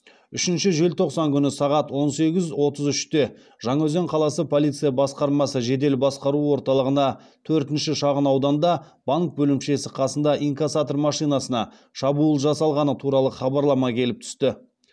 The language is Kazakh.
үшінші желтоқсан күні сағат он сегіз отыз үште жаңаөзен қаласы полиция басқармасы жедел басқару орталығына төртінші шағын ауданда банк бөлімшесі қасында инкассатор машинасына шабуыл жасалғаны туралы хабарлама келіп түсті